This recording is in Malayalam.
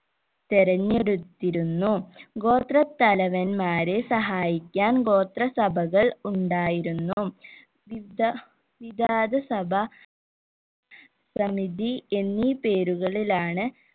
തെരഞ്ഞെടുത്തിരുന്നു ഗോത്ര തലവന്മാരെ സഹായിക്കാൻ ഗോത്ര സഭകൾ ഉണ്ടായിരുന്നു വിവിധ വിവാദ സഭ സമിതി എന്നീ പേരുകളിലാണ്